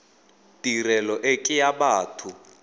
tirelo e ke ya batho